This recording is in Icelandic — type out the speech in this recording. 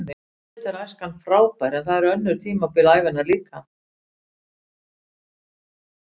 Auðvitað er æskan frábær en það eru önnur tímabil ævinnar líka.